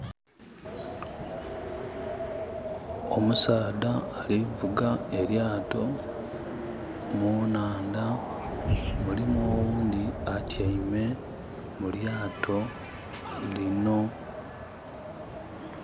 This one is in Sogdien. Omusaadha alivuga elyaato munaandha mulimu oghundi atyaime mu lyaato lino.